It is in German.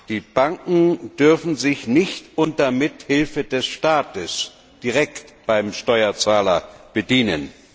Die Banken dürfen sich nicht unter Mithilfe des Staates direkt beim Steuerzahler bedienen.